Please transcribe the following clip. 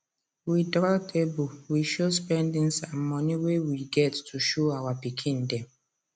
we draw table we show spendings and money wey we get to show our pikin dem